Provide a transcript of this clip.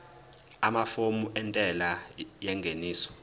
amafomu entela yengeniso